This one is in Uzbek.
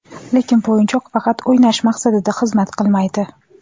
Lekin bu o‘yinchoq faqat o‘ynash maqsadida xizmat qilmaydi.